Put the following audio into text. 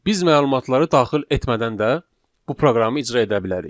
Biz məlumatları daxil etmədən də bu proqramı icra edə bilərik.